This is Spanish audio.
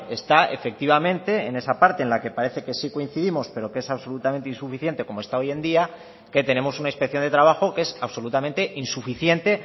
está efectivamente en esa parte en la que parece que sí coincidimos pero que es absolutamente insuficiente como está hoy en día que tenemos una inspección de trabajo que es absolutamente insuficiente